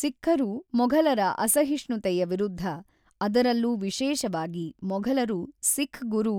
ಸಿಖ್ಖರು ಮೊಘಲರ ಅಸಹಿಷ್ಣುತೆಯ ವಿರುದ್ಧ ಅದರಲ್ಲೂ ವಿಶೇಷವಾಗಿ ಮೊಘಲರು ಸಿಖ್ ಗುರು